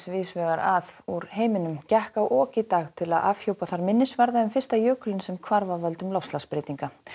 víðs vegar að úr heiminum gekk á ok í dag til að afhjúpa þar minnisvarða um fyrsta jökulinn sem hvarf af völdum loftslagsbreytinga